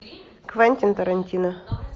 квентин тарантино